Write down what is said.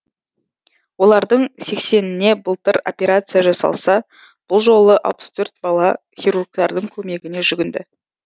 олардың сексеніне былтыр операция жасалса бұл жолы алпыс төрт бала хирургтардың көмегіне жүгінді